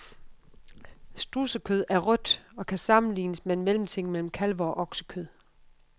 Strudsekød er rødt og kan sammenlignes med en mellemting mellem kalve- og oksekød.